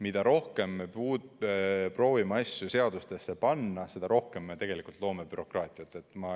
Mida rohkem me proovime asju seadustesse panna, seda rohkem me loome bürokraatiat.